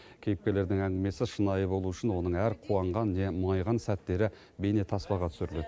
кейіпкерлердің әңгімесі шынайы болуы үшін оның әр қуанған не мұңайған сәттері бейнетаспаға түсіріледі